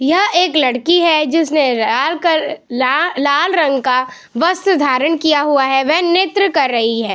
यह एक लड़की है जिसने लाल कल लाल लाल रंग का वस्त्र धारण किया हुआ है वह नृत्य कर रही है।